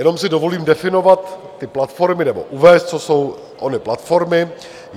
Jenom si dovolím definovat ty platformy nebo uvést, co jsou ony platformy.